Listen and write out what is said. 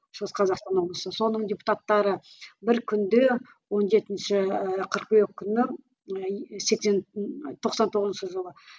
шығыс қазақстан облысы соның депутаттары бір күнде он жетінші ііі қыркүйек күні і сексен тоқсан тоғызыншы жылы